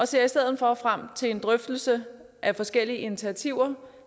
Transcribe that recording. ser i stedet for frem til en drøftelse af forskellige initiativer